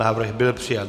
Návrh byl přijat.